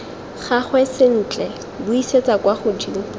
gagwe sentle buisetsa kwa godimo